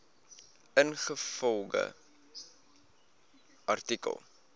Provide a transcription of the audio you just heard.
ingevolge artikel